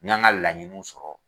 N ka n ka laɲiniw sɔrɔ.